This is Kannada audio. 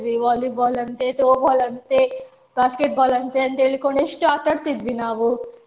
Volleyball ಅಂತೆ Throwball ಅಂತೆ Basketball ಅಂತೆ ಅಂತ್ಹೇಳಿಕೊಂಡು ಎಷ್ಟು ಆಟಾಡ್ತಾ ಇದ್ವಿ ನಾವು